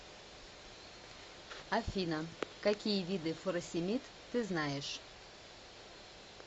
афина какие виды фуросемид ты знаешь